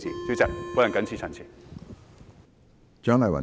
主席，我謹此陳辭。